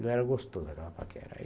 Ela era gostosa, aquela paquera.